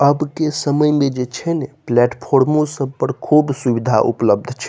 अब के समय में जे छै ने प्लेटफॉर्म पर सब पर खुब सुविधा उपलब्ध छै।